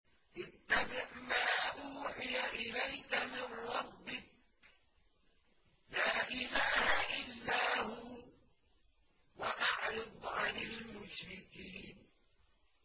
اتَّبِعْ مَا أُوحِيَ إِلَيْكَ مِن رَّبِّكَ ۖ لَا إِلَٰهَ إِلَّا هُوَ ۖ وَأَعْرِضْ عَنِ الْمُشْرِكِينَ